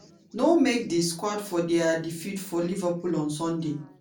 no make di squad for dia defeat for liverpool on sunday.